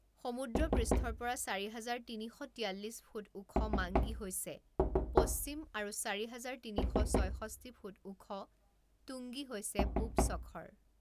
সমুদ্ৰ পৃষ্ঠৰ পৰা চাৰি হাজাৰ তিনি শ তিয়াল্লিছ ফুট ওখ মাংগী হৈছে পশ্চিম, আৰু চাৰি হাজাৰ তিনি শ ছয়ষষ্ঠি ফুট ওখ টুংগী হৈছে পূব শখৰ।